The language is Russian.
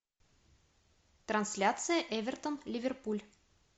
трансляция эвертон ливерпуль